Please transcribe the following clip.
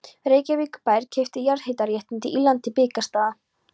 Reykjavíkurbær keypti jarðhitaréttindi í landi Blikastaða.